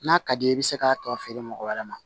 N'a ka d'i ye i bɛ se k'a tɔ feere mɔgɔ wɛrɛ ma